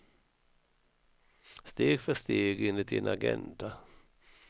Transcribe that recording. Steg för steg enligt en agenda.